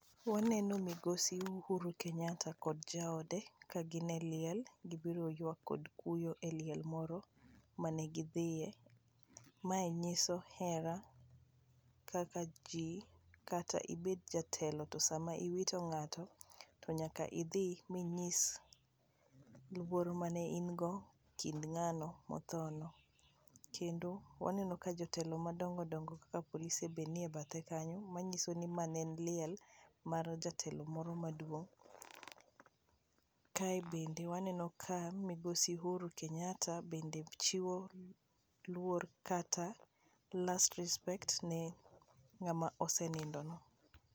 Waneno migosi Uhuru Kenyatta kod jaode ka gin e liel, gibiro kelo yuak kod kuyo e liel moro mane gidhiye. Mae nyiso hera kaka ji kata ibet jatelo to sama iwito ng'ato to nyaka idhi minyis luor mane in go ekind ng'ano mothono. Kendo waneno ka jotelo madongo dongo kaka polise be nie bathe kanyo manyiso ni ma ne en liel mar jatelo moro maduong'. Kae bende waneno ka migosi Uhuru Kenyatta chiwo luor kata last respect ne ng'ama osenindoni.